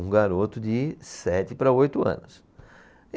Um garoto de sete para oito anos.